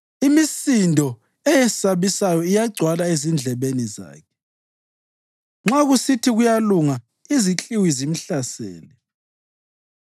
Imisindo eyesabisayo iyagcwala ezindlebeni zakhe; nxa kusithi kuyalunga, izikliwi zimhlasele.